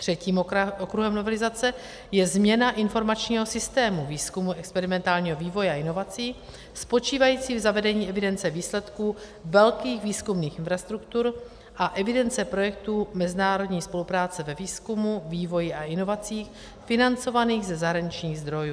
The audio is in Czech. Třetím okruhem novelizace je změna informačního systému výzkumu, experimentálního vývoje a inovací spočívající v zavedení evidence výsledků velkých výzkumných infrastruktur a evidence projektů mezinárodní spolupráce ve výzkumu, vývoji a inovacích financovaných ze zahraničních zdrojů.